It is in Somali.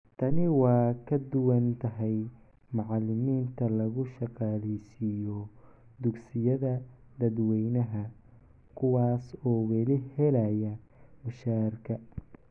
Tani waa ka duwan tahay macallimiinta lagu shaqaaleysiiyo dugsiyada dadweynaha, kuwaas oo weli helaya mushaharka.